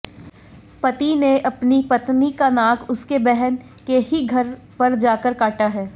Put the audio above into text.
पति ने अपनी पत्नी का नाक उसके बहन के ही घर पर जाकर काटा है